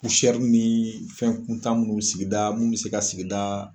ni fɛn kuntan munnu sigida munnu bɛ se ka sigida